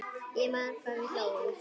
Ég man hvað við hlógum.